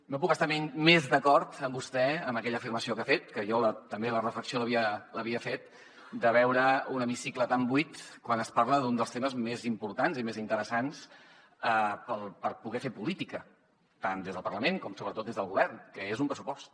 no puc estar més d’acord amb vostè amb aquella afirmació que ha fet que jo també la reflexió l’havia fet de veure un hemicicle tan buit quan es parla d’un dels temes més importants i més interessants per poder fer política tant des del parlament com sobretot des del govern que és un pressupost